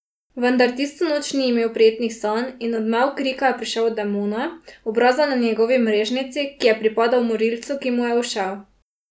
Vendar tisto noč ni imel prijetnih sanj in odmev krika je prišel od demona, obraza na njegovi mrežnici, ki je pripadal morilcu, ki mu je ušel.